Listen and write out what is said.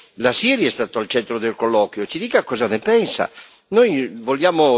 è stato importantissimo perché la Siria è stata al centro del colloquio, ci dica cosa ne pensa.